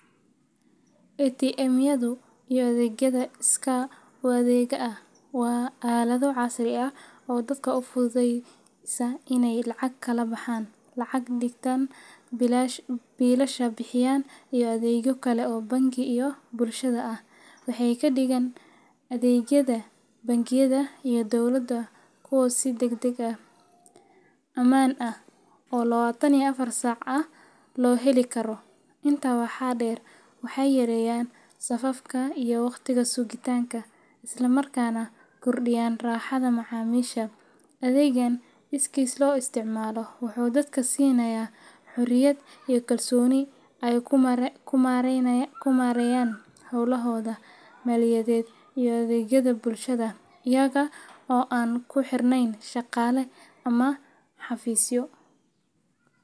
ATM-yadu iyo adeegyada iskaa-u-adeegga ah waa aalado casri ah oo dadka u fududeeya inay lacag kala baxaan, lacag dhigtaan, biilasha bixiyaan, iyo adeegyo kale oo bangi iyo bulshada ah. Waxay ka dhigaan adeegyada bangiyada iyo dowladda kuwo si degdeg ah, ammaan ah, oo lawatan iyo afar saac ah loo heli karo. Intaa waxaa dheer, waxay yareeyaan safafka iyo waqtiga sugitaanka, isla markaana kordhiyaan raaxada macaamiisha. Adeeggan iskiis loo isticmaalo wuxuu dadka siinayaa xorriyad iyo kalsooni ay ku maareeyaan howlahooda maaliyadeed iyo adeegyada bulshada iyaga oo aan ku xirnayn shaqaale ama xafiisyo.